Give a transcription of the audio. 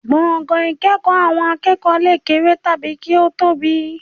Gbọ̀ngàn ìkẹ́kọ̀ọ́ àwọn akẹ́kọ̀ọ́ lè kéré tàbí kí ó tóbi